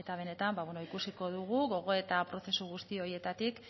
benetan ikusiko dugu gogoeta prozesu guzti horietatik